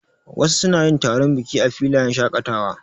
Wasu suna yin taron biki a filayen shaƙatawa.